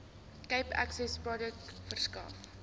cape accessprojek verskaf